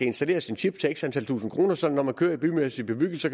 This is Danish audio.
installeres en chip til x antal tusinde kroner så man når man kører i bymæssig bebyggelse